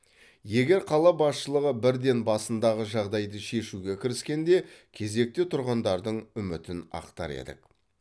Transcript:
егер қала басшылығы бірден басындағы жағдайды шешуге кіріскенде кезекте тұрғандардың үмітін ақтар еді